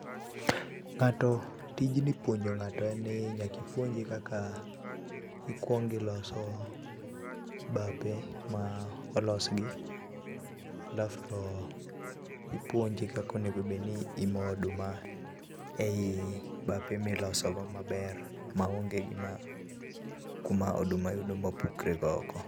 Ng'ato, tijni puonjo ng'ato en ni nyaka ipuonje kaka ikuong iloso bape ma olos gi ,alaf to ipuonje kaka onego obedni imo oduma ei bape miloso go maber maonge gima, kuma oduma yudo mapukre go oko